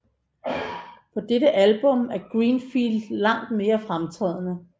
På dette album er Greenfield langt mere fremtrædende